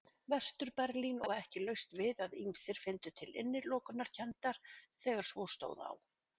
Vestur-Berlín og ekki laust við að ýmsir fyndu til innilokunarkenndar þegar svo stóð á.